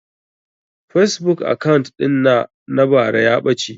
Fasebuk akant ɗin na na bara ya ɓace